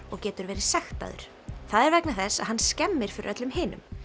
og getur verið sektaður það er vegna þess að hann skemmir fyrir öllum hinum